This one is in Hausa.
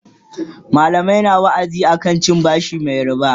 mallamai na wa'azi akan cin bashi Mai ribaa